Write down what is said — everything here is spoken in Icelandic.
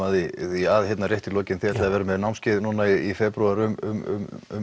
því að hérna rétt í lokin þið ætlið að vera með námskeið núna í febrúar um